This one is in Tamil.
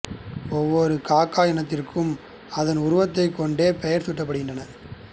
ஒவ்வொரு காக இனத்திற்கும் அதன் உருவத்தைக் கொண்டே பெயர் சூட்டப்படுகின்றன